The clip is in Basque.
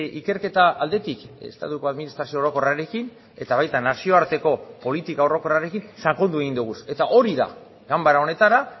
ikerketa aldetik estatuko administrazio orokorrarekin eta baita nazioarteko politika orokorrarekin sakondu egin dugu eta hori da ganbara honetara